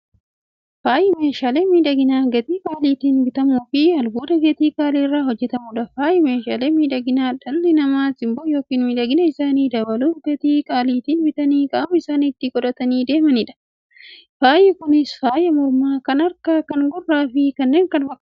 Faayyi meeshaalee miidhaginaa gatii qaalitiin bitamuufi albuuda gatii qaalii irraa hojjatamuudha. Faayyi meeshaalee miidhaginaa, dhalli namaa simboo yookiin miidhagina isaanii dabaluuf, gatii qaalitiin bitanii qaama isaanitti qodhatanii deemaniidha. Faayyi Kunis; faaya mormaa, kan harkaa, kan gurraafi kan kana fakkataniidha.